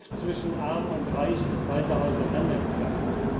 Die Kluft zwischen Arm und Reich ist weiter auseinandergegangen.